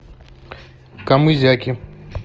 камызяки